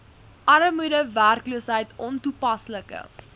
armoede werkloosheid ontoepaslike